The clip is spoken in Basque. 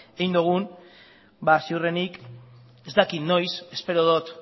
egin dogun ba ziurrenik ez dakit noiz espero dut